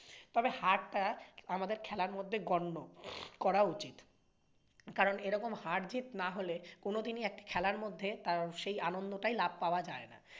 তবে হার তা আমাদের খেলার মধ্যে গণ্য হয়ে উচিত । কারণ এরকম হার জিৎ না হলে কোনোদিনই একটা খেলার মধ্যে সেই আনন্দটাই লাভ পাওয়া যায় না।